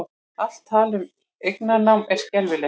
Allt tal um eignarnám er skelfilegt